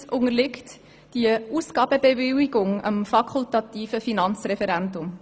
Aufgrund seiner Höhe unterliegt dieser Verpflichtungskredits dem fakultativen Finanzreferendum.